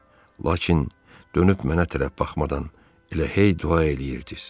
Lakin dönüb mənə tərəf baxmadan elə hey dua eləyirdiz.